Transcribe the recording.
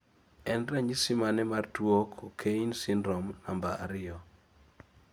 en ranyisi mane mar tuo Cockayne syndrome namba ariyo